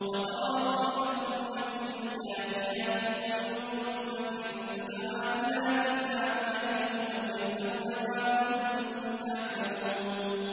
وَتَرَىٰ كُلَّ أُمَّةٍ جَاثِيَةً ۚ كُلُّ أُمَّةٍ تُدْعَىٰ إِلَىٰ كِتَابِهَا الْيَوْمَ تُجْزَوْنَ مَا كُنتُمْ تَعْمَلُونَ